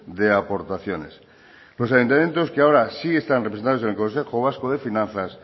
de aportaciones los ayuntamientos que ahora sí están representados en el consejo vasco de finanzas